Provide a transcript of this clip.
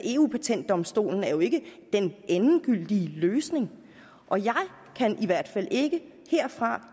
eu patentdomstolen er jo ikke den endegyldige løsning og jeg kan i hvert fald ikke herfra